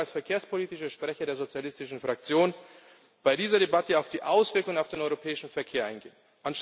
Aber ich möchte als verkehrspolitischer Sprecher der sozialistischen Fraktion bei dieser Debatte auf die Auswirkungen auf den europäischen Verkehr eingehen.